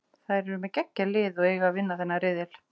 Þær eru með geggjað lið og eiga að vinna þennan riðil.